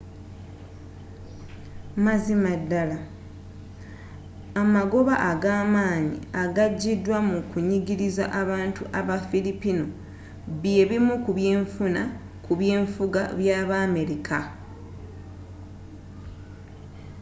mazima ddala amagoba agamaanyi agajidwa mu kunyigiriza abantu aba fillipino byebimu ku byenfuna ku byenfuga byabamerika